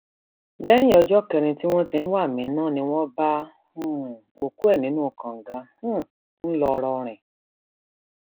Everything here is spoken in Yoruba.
lẹyìn ọjọ kẹrin tí wọn ti ń wa aminat ni wọn bá um òkú ẹ nínú kànga um ńlọrọrìn